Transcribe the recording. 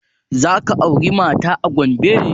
Za ka aura mata a Gombe?